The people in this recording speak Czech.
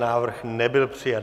Návrh nebyl přijat.